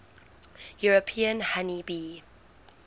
european honey bee